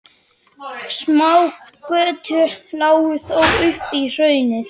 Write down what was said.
Smágötur lágu þó upp í hraunið.